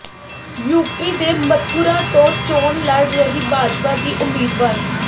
UP ਦੇ ਮਥੁਰਾ ਤੋਂ ਚੋਣ ਲੜ ਰਹੀ ਭਾਜਪਾ ਦੀ ਉਮੀਦਵਾਰ